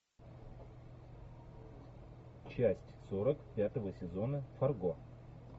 часть сорок пятого сезона фарго